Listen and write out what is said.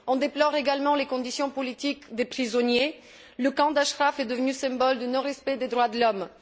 On déplore également les conditions politiques des prisonniers et le camp d'Ashraf est devenu le symbole du non respect des droits de l'homme.